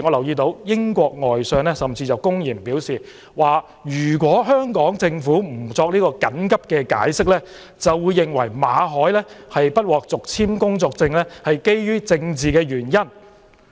英國外相甚至公然表示，如果香港政府不作緊急解釋，便會認為馬凱不獲續簽工作簽證是基於政治原因。